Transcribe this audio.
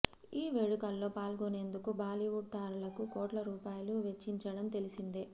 ఈ వేడుకల్లో పాల్గొనేందుకు బాలీవుడ్ తారలకు కోట్ల రూపాయలు వెచ్చించడం తెలిసిందే